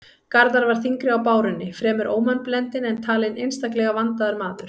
Garðar var þyngri á bárunni, fremur ómannblendinn, en talinn einstaklega vandaður maður.